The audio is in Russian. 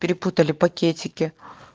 перепутали пакетике